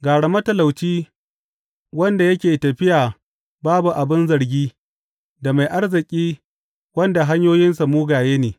Gara matalauci wanda yake tafiya babu abin zargi da mai arziki wanda hanyoyinsa mugaye ne.